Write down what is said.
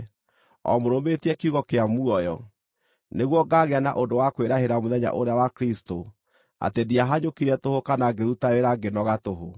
o mũrũmĩtie kiugo kĩa muoyo, nĩguo ngaagĩa na ũndũ wa kwĩrahĩra mũthenya ũrĩa wa Kristũ atĩ ndiahanyũkire tũhũ kana ngĩruta wĩra ngĩnoga tũhũ.